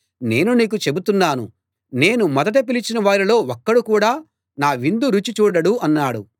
నేను నీకు చెబుతున్నాను నేను మొదట పిలిచిన వారిలో ఒక్కడు కూడా నా విందు రుచి చూడడు అన్నాడు